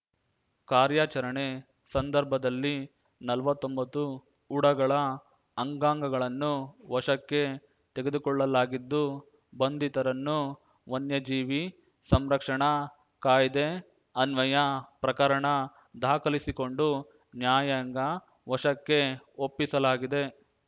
ಕಾರ್ಯಾಚರಣೆ ಸಂದರ್ಭದಲ್ಲಿ ನಲ್ವತ್ತೊಂಬತ್ತು ಉಡಗಳ ಅಂಗಾಂಗಗಳನ್ನು ವಶಕ್ಕೆ ತೆಗೆದುಕೊಳ್ಳಲಾಗಿದ್ದು ಬಂಧಿತರನ್ನುವನ್ಯಜೀವಿ ಸಂರಕ್ಷಣಾ ಕಾಯ್ದೆ ಅನ್ವಯ ಪ್ರಕರಣ ದಾಖಲಿಸಿಕೊಂಡು ನ್ಯಾಯಾಂಗ ವಶಕ್ಕೆ ಒಪ್ಪಿಸಲಾಗಿದೆ